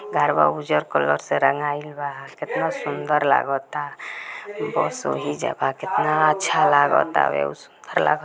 घरवा उजर कलर से रंगाइल बा कितना सुन्दर लागता बस वही जगह कितना अच्छा लागता सुन्दर लागता